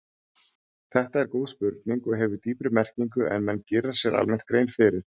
Þetta er góð spurning og hefur dýpri merkingu en menn gera sér almennt grein fyrir.